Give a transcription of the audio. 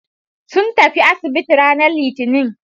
Sun tafi asibiti ranar litinin.